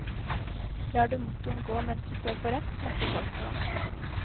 Lar du motoren gå mens du står på rødt, snakker folk til deg.